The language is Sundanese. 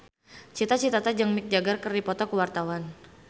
Cita Citata jeung Mick Jagger keur dipoto ku wartawan